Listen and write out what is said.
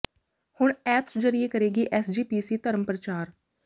ਹੁਣ ਐਪਸ ਜਰੀਏ ਕਰੇਗੀ ਐਸ ਜੀ ਪੀ ਸੀ ਧਰਮ ਪ੍ਰਚਾਰ